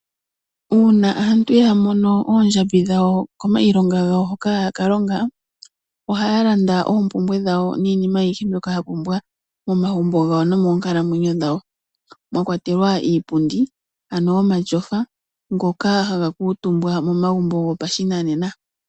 Uuna aantu ya mono oondjambi dhawo komailonga gawo hoka hayaka longa ohaya landa oompumbwe dhawo niinima ayihe mbyoka ya pumbwa momagumbo gawo nomoonkalamwenyo dhawo mwa kwatelwa iipundi ano omashofa ngoka haga kuutumba momagumbo gopashinanena.